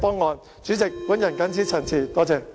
代理主席，我謹此陳辭。